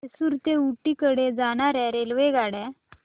म्हैसूर ते ऊटी कडे जाणार्या रेल्वेगाड्या